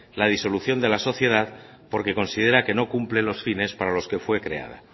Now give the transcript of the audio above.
la disolución de la sociedad porque considera que no cumple los fines para los que fue creada